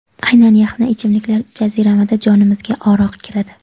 Aynan yaxna ichimliklar jaziramada jonimizga oro kiradi.